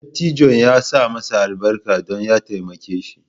Dattijon ya sa masa albarka don ya taimake shi